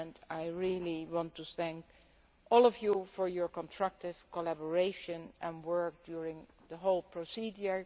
I want to thank all of you for your constructive collaboration and work during the whole procedure.